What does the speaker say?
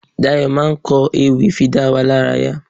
Dayọ̀ máa ń ko ewì fi dá wa lárayá.